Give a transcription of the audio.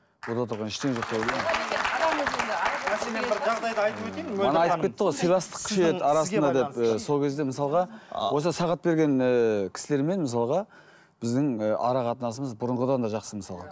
онда тұрған ештеңе жоқ деп ойлаймын сол кезде мысалға осы сағат берген ііі кісілермен мысалға біздің і ара қатынасымыз бұрынғыдан да жақсы мысалға